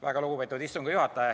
Väga lugupeetud istungi juhataja!